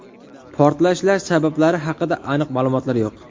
Portlashlar sabablari haqida aniq ma’lumotlar yo‘q.